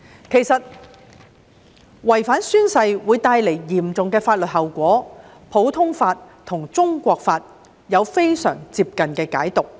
其實，違反宣誓會帶來嚴重的法律效果，普通法和中國法亦有非常接近的解讀。